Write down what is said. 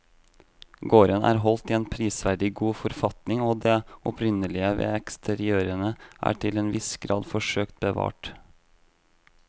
Gården er holdt i en prisverdig god forfatning og det opprinnelige ved eksteriørene er til en viss grad forsøkt bevart.